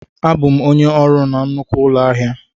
Abụ m onye ọrụ na nnukwu ụlọ ahịa a.